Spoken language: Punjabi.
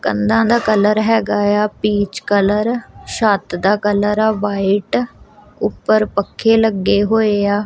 ਕੰਧਾਂ ਦਾ ਕਲਰ ਹੈਗਾ ਏ ਆ ਪੀਚ ਕਲਰ ਛੱਤ ਦਾ ਕਲਰ ਆ ਵਾਈਟ ਉੱਪਰ ਪੱਖੇ ਲੱਗੇ ਹੋਏ ਆ।